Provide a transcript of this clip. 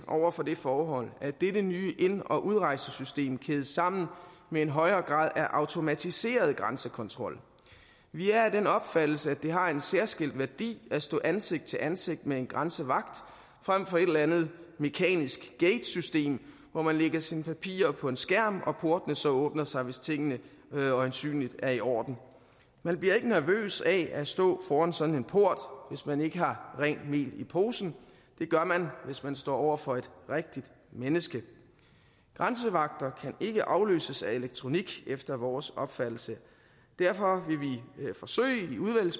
over for det forhold at dette nye ind og udrejsesystem kædes sammen med en højere grad af automatiseret grænsekontrol vi er af den opfattelse at det har en særskilt værdi at stå ansigt til ansigt med en grænsevagt frem for et eller andet mekanisk gatesystem hvor man lægger sine papirer på en skærm og portene så åbner sig hvis tingene øjensynligt er i orden man bliver ikke nervøs af at stå over for sådan en port hvis man ikke har rent mel i posen det gør man hvis man står over for et rigtigt menneske grænsevagter kan ikke afløses af elektronik efter vores opfattelse derfor